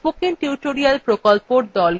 spoken tutorial প্রকল্পর the